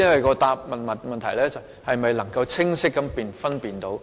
我的問題是：局長能否清晰地作出分辨？